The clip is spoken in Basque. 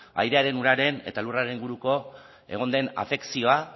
airearen uraren eta lurraren inguruko egon den afekzioa